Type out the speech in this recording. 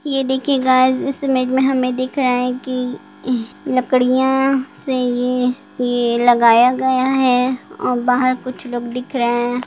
ये देखिए गाइस इस इमेज में हमें दिख रहा है कि हं लकड़ियाँ से ये ये लगाया गया है और बाहर कुछ लोग दिख रहे हैं।